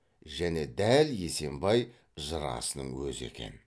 және дәл есембай жырасының өзі екен